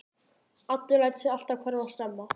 Addi lætur sig alltaf hverfa snemma.